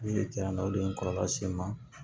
o de ye n kɔrɔla se n ma